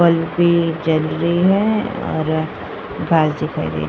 बल्बे जल रही है और दिखाई दे --